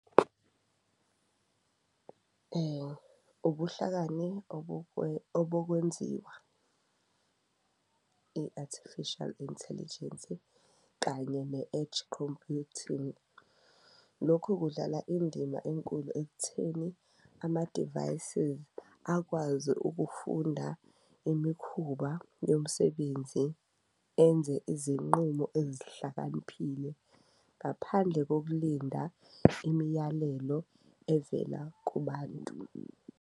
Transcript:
Ubuhlakani obokwenziwa i-artificial intelligence kanye ne-edge computing, lokhu kudlala indima enkulu ekutheni amadivayisizi akwazi ukufunda imikhuba yomsebenzi, enze izinqumo ezihlakaniphile ngaphandle kokulinda imiyalelo evela kubantu.